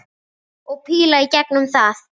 Og píla í gegnum það!